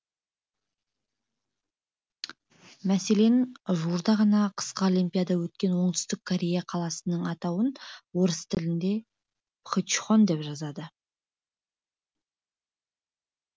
мәселен жуырда ғана қысқы олимпиада өткен оңтүстік корея қаласының атауын орыс тілінде пхе нчхан деп жазады